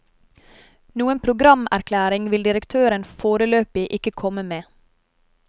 Noen programerklæring vil direktøren foreløpig ikke komme med.